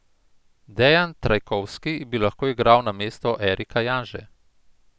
Dejan Trajkovski bi lahko igral namesto Erika Janže.